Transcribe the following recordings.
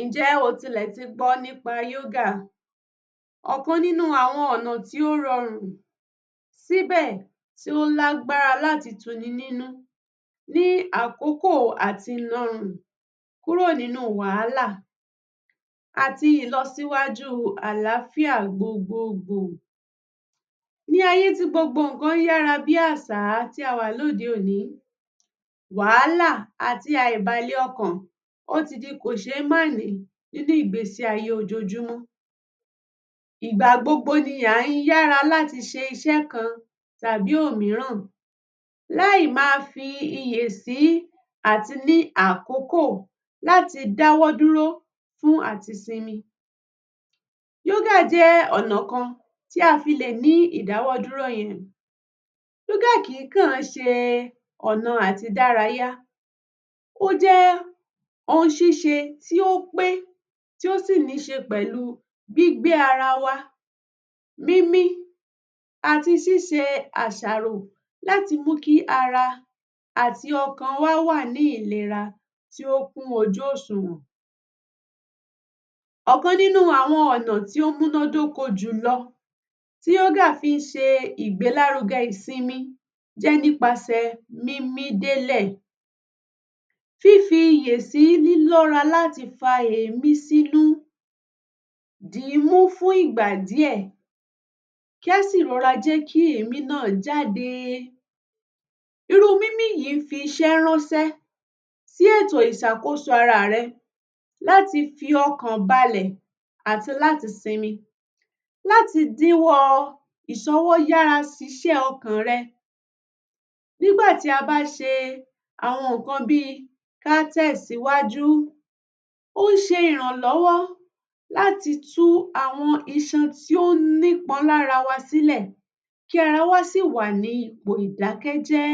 Ǹjẹ́ o tilẹ̀ ti gbọ́ nípa yógà, ọ̀kan nínú àwọn ọ̀nà tí ó rọrùn síbẹ̀ ó lágbára láti tuninínú ní àkókò àti narùn kúrò nínú wàhálà àti ìlọsíwájú àlááfìà gbogbogbò, ní ayè tí gbogbo ǹkan yára bí àsá tí awà lóde òní, wàhálà àti àìbàlẹ̀ọkàn ti di kòṣémánìí nínú ìgbésí ayé ojojúmọ́, ìgbà gbogbo ni a ń yára láti ṣiṣẹ́ kan tàbí òmíràn láì ma fi iyè sí àti ní àkókò láti dáwọ́ dúró fún àti sinmi. Yógà jẹ́ ọ̀nà kan tí a fi lè ní ìdáwọ́dúró. yógà kì í kàn ṣe ọ̀nà àti dárayá, ó jẹ́ ohun ṣíṣe tí ó pé, tí ó sì ní ṣe pẹ̀lú gbígbé ara wa, mímí àti síse àsàrò láti múkí ara àti ọkàn wa ní ìlera tí ó kú ojúòsùwọ̀n, ọ̀kan nínú àwọn ọ̀nà tí ó múná dóko jùlọ tí yógà fí ṣe ìgbélárugẹ ìsinmi jẹ́ nípaṣè mímí délè, fífi iyè sí lílọ́ra láti fa èémí sínú dì í mú fún ìgbà díè, kásì rora jẹ́ kí èémí náà rora jáde, irú mímí yìí fi iṣẹ́ ránṣẹ́ sí ètò ìsàkóso ara rẹ láti fi ọkàn balẹ̀ àti láti sinmi, láti dínwọ́ ìsọwó yára ṣiṣẹ́ ọkàn rẹ. Nígbà tí a bá ṣe àwọn ǹkan bí kátẹ̀síwájú ó ṣe ìrànlọ́wọ́ láti tún àwọn iṣan tí ó ní pọn lára wa sílè kí ara wa sì wà ní ipò ìdákẹ́jẹ́.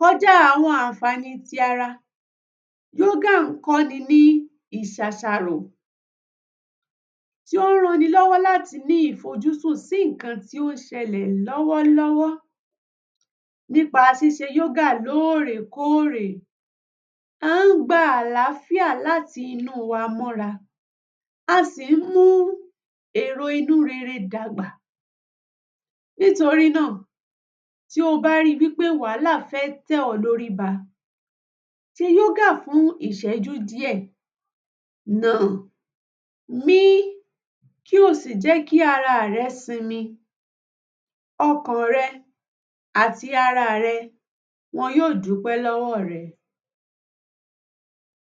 Kọjá àwọn ànfàní ti ara, yógà kọ́ ni ní ìsàsàrò, tí ó ranilọ́wọ́ láti ní ìfọjúsu sí ǹkan tí ó sẹlẹ̀ lọ́wọ́ nípa ṣíṣe yógà lórèkórè, a ń gba àlááfìà láti inú wa mọ́ra, à sì ń mú èrò inú rere dàgbà, nítorí nà tí o bá ri wí pé wàhálà fẹ́ tẹ̀ ọ́ lórí ba, ṣe yógà fún ìsẹ́jú díè, nà-àn, mí, kí o sì jẹ́ kí ara rẹ sinmi, ọkàn rẹ àti ara rẹ wọn yóò dúpẹ́ lọ́wọ́ rẹ